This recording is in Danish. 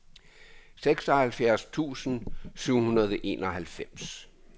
seksoghalvfjerds tusind syv hundrede og enoghalvfems